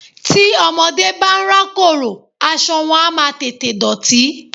Tí ọmọdé bá ń rákòrò, aṣọ wọn á máa tètè dọ̀tí.